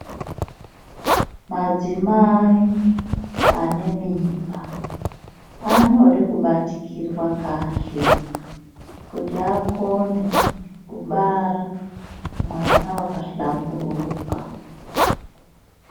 Madzimai ane mimba anode kubatikirwa kahle kuti akone kubara mwana wakahlamburuka.